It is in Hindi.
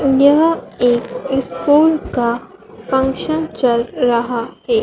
यह एक स्कूल का फंक्शन चल रहा है।